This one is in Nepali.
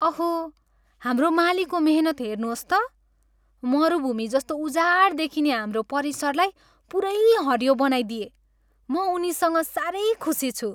अहो! हाम्रो मालीको मेहनत हेर्नुहोस् त! मरुभूमि जस्तो उजाड देखिने हाम्रो परिसरलाई पुरै हरियो बनाइदिए। म उनीसँग साह्रै खुसी छु।